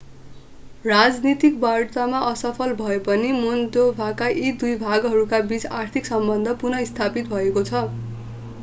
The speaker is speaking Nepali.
राजनीतिक वार्तामा असफल भए पनि मोल्डोभाका यी दुई भागहरूका बीच आर्थिक सम्बन्ध पुनः स्थापित भएको छ